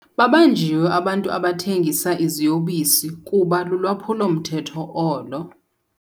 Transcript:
Babanjiwe abantu abathengisa iziyobisi kuba lulwaphulo-mthetho olo.